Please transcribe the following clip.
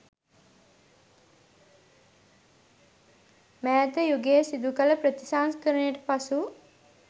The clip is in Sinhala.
මෑත යුගයේ සිදු කළ ප්‍රතිසංස්කරණයට පසු